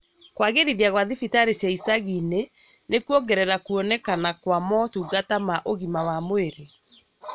Kwagĩrithia gwa thibitari cia icagi-inĩ nĩkũrongerera kwonekana kwa motungata ma ũgima wa mwĩrĩ